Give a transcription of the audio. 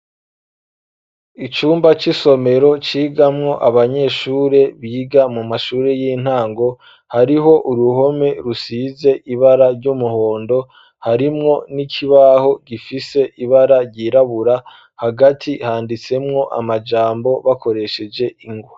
Icumba c'isomero, cigamwo abanyeshure, biga mu mashure, y'intango; hariho uruhome, rusize ibara ry'umuhondo; harimwo n'ikibaho, gifise ibara ryirabura, hagati handitsemwo, amajambo, bakoresheje ingwa.